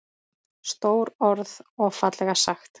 Stór orð og fallega sagt.